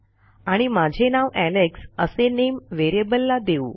आणि माझे नाव एलेक्स असे नामे व्हेरिएबलला देऊ